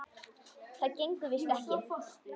Það gengur víst ekki.